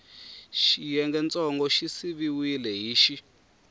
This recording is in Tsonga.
xiyengentsongo xi siviwile hi x